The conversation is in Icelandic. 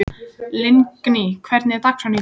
Lingný, hvernig er dagskráin í dag?